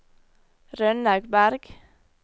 Rønnaug Bergh